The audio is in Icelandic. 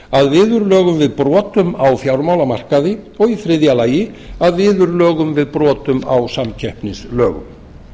að viðurlögum við brotum á fjármálamarkaði og í þriðja lagi að viðurlögum á brotum á samkeppnislögum